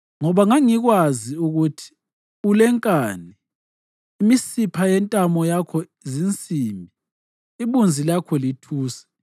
Ngoba ngangikwazi ukuthi ulenkani, imisipha yentamo yakho zinsimbi, ibunzi lakho lithusi.